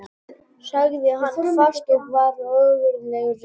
sagði hann hvasst og var ógurlega reiður.